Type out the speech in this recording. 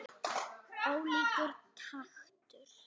Ólíkur taktur.